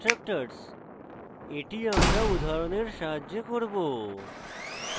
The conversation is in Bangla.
destructors এটি আমরা উদাহরণের সাহায্যে করব